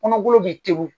Kɔnɔgolo bɛ te wo